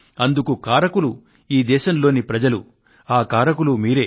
అందుకు కారకులు ఈ దేశంలోని ప్రజలు ఆ కారకులు మీరే